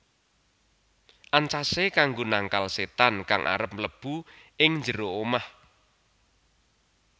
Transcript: Ancasé kanggo nangkal sétan kang arep mlebu ing njero omah